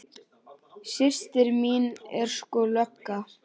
Systir mín er sko lögga